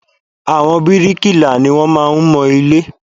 Àwọn bíríkìlà ni wọ́n máa ń mọ ilé